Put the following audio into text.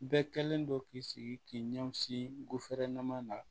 Bɛɛ kɛlen don k'i sigi k'i ɲɛsin guwɛrɛman na